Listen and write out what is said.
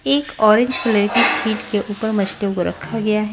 एक orange colour sheet के ऊपर मछलियों को रखा गया है।